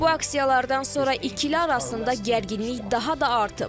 Bu aksiyalardan sonra ikili arasında gərginlik daha da artıb.